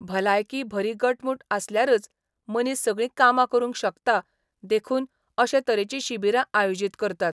भलायकी बरी घटमूट आसल्यारूच मनीस सगळी कामां करूंक शकता देखून अशे तरेची शिबीरां आयोजित करतात.